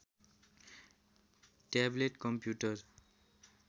tablet computer